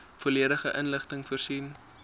volledige inligting voorsien